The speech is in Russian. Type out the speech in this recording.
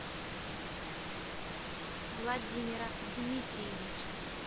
владимира дмитриевича